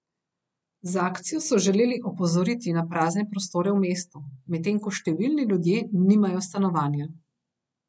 Z akcijo so želeli opozoriti na prazne prostore v mestu, medtem ko številni ljudje nimajo stanovanja.